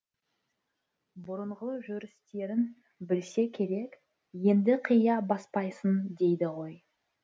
бұрынғы жүрістерін білсе керек енді қия баспайсың дейді ғой